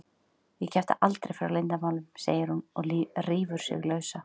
Ég kjafta aldrei frá leyndarmálum, segir hún og rífur sig lausa.